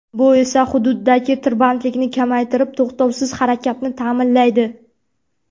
Bu esa xududdagi tirbandlikni kamaytirib to‘xtovsiz harakatni ta’minlaydi.